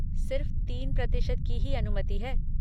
सिर्फ़ तीन प्रतिशत की ही अनुमति है।